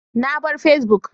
Na bar Facebook